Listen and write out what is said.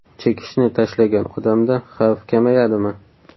Chekishni tashlagan odamda xavf kamayadimi?